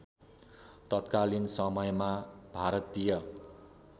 तत्कालीन समयमा भारतीय